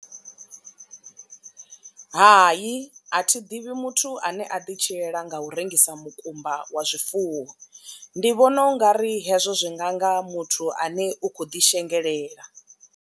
Hai, a thi ḓivhi muthu ane a ḓi tshilela nga u rengisa mukumba wa zwifuwo ndi vhona ungari hezwo zwi nganga muthu ane u kho ḓi shengelela.